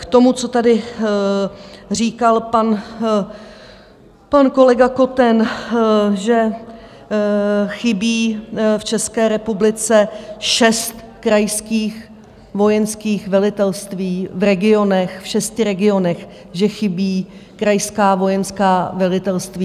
K tomu, co tady říkal pan kolega Koten, že chybí v České republice šest krajských vojenských velitelství v regionech, v šesti regionech že chybí krajská vojenská velitelství.